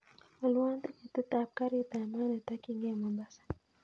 Alwon tiketit ab garit ab maat netokyingei mombasa